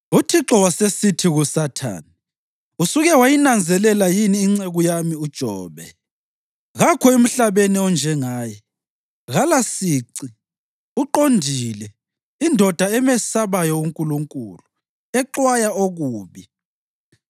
UThixo wasesithi kuSathane, “Usuke wayinanzelela yini inceku yami uJobe? Kakho emhlabeni onjengaye; kalasici, uqondile, indoda emesabayo uNkulunkulu, exwaya okubi.”